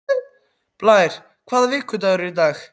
Blær, hvaða vikudagur er í dag?